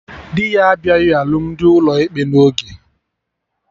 Dị ya abịaghị alụmdi ụlọ ikpe na oge